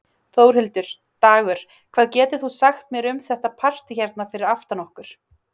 Þórhildur: Dagur, hvað getur þú sagt mér um þetta partý hérna fyrir aftan okkur?